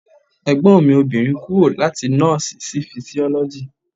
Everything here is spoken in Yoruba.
Ẹ̀gbọ́n mi obìnrin kúrò láti nọ́ọ̀sì sí fisiọ́lọ́jì.